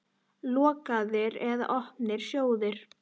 Lokaðir eða opnir sjóðir?